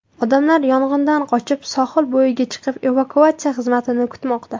Odamlar yong‘indan qochib, sohil bo‘yiga chiqib, evakuatsiya xizmatini kutmoqda.